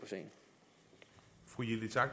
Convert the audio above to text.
på